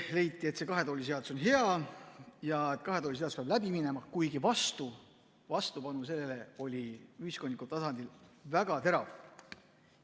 Leiti, et see kahe tooli seadus on hea ja et kahe tooli seadus peab läbi minema, kuigi vastupanu sellele oli ühiskondlikul tasandil väga terav.